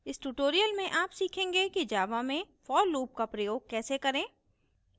इस tutorial में आप सीखेंगे कि java में for loop का प्रयोग कैसे करें